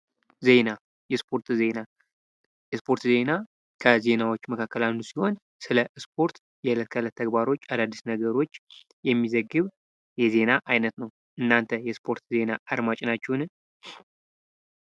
ዜና የስፖርት ዜና የስፖርት ዜና ከዜና አይነቶች ዉስጥ አንዱ ሲሆን ስለ ስፖርት የእለት ተእለት ተግባሮች አዳዲስ ነገሮች የሚዘግብ የዜና አይነት ነው። እናንተ የስፖርት ዜና አድማጭ ናችሁ?